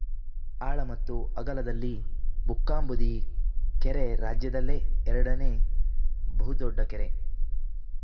ಆಳ ಮತ್ತು ಅಗಲದಲ್ಲಿ ಬುಕ್ಕಾಂಬುದಿ ಕೆರೆ ರಾಜ್ಯದಲ್ಲೇ ಎರಡನೇ ಬಹುದೊಡ್ಡ ಕೆರೆ